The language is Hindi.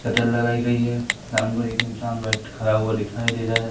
सेटर लगाई गई है सामने को एक इंसान बैठ खड़ा हुआ दिखाई दे रहा है।